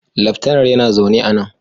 Laftanar yana zaune a nan